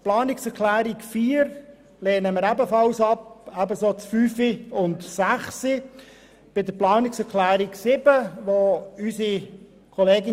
Die Planungserklärung 4 lehnen wir ebenfalls ab, ebenso die Planungserklärungen 5 und 6.